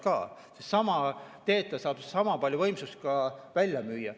Sedasama teed ta saab sama palju võimsust ka välja müüa.